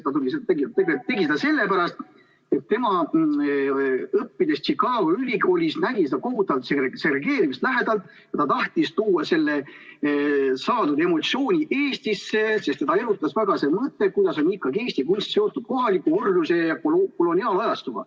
Ta ütles, et tegi seda sellepärast, et tema, õppides Chicago ülikoolis, nägi seda kohutavat segregeerimist lähedalt ja ta tahtis tuua selle saadud emotsiooni Eestisse, sest teda erutas väga see mõte, kuidas on ikkagi Eesti kunst seotud kohaliku orjuse ja koloniaalajastuga.